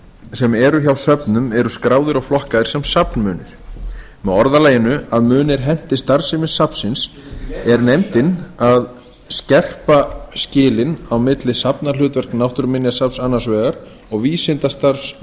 sem eru hjá söfnum eru skráðir og flokkaðir sem safnmunir með orðalaginu að munir henti starfsemi safnsins er nefndin að skerpa skilin á milli safnahlutverks náttúruminjasafnsins annars vegar og vísindastarfs